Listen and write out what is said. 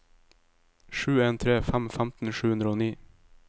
sju en tre fem femten sju hundre og ni